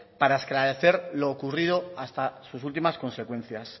para esclarecer lo ocurrido hasta sus últimas consecuencias